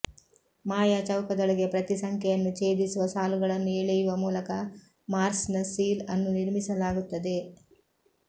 ಮಾಯಾ ಚೌಕದೊಳಗೆ ಪ್ರತಿ ಸಂಖ್ಯೆಯನ್ನು ಛೇದಿಸುವ ಸಾಲುಗಳನ್ನು ಎಳೆಯುವ ಮೂಲಕ ಮಾರ್ಸ್ನ ಸೀಲ್ ಅನ್ನು ನಿರ್ಮಿಸಲಾಗುತ್ತದೆ